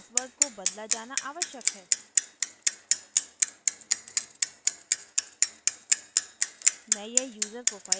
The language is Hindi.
email पर भेजे गए password को बदला जाना आवश्यक है